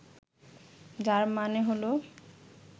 যার মানে হল